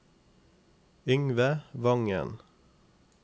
Yngve Vangen